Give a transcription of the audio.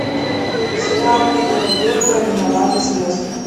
сериал питера берга виноваты звезды